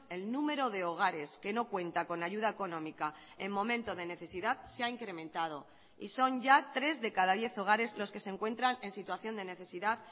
el número de hogares que no cuenta con ayuda económica en momento de necesidad se ha incrementado y son ya tres de cada diez hogares los que se encuentran en situación de necesidad